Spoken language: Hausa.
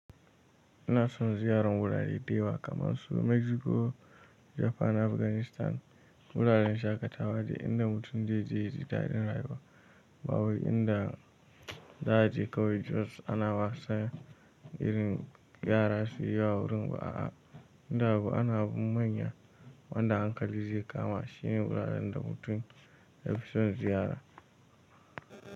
Ina son ziyarar wurare da yawa kamar su Mexico, Japan da Afghanistan. Wuraren shaƙatawa da inda mutum zai je ya ji daɗin rayuwa ba wai inda za a je kawai jos ana wasa irin yara su yi yawa wurin ba a. Inda abu ana abun manya wanda hankali zai kama shine wuraren da mutum ya fi son ziyara.